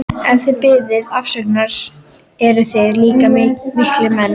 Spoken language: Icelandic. Ef þið biðjið afsökunar eruð þið líka miklir menn.